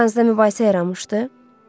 aranızda mübahisə yaranmışdı.